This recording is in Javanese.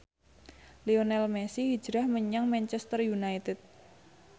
Lionel Messi hijrah menyang Manchester united